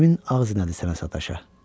Min ağzına daş nədir sənə sataşa.